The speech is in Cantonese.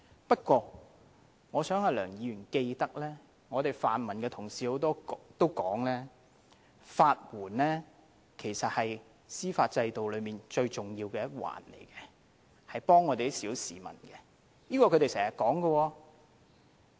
不過，我希望梁議員記得，多位泛民同事也表示，其實法援是司法制度中最重要的一環，是幫助小市民的，這也是他們經常說的。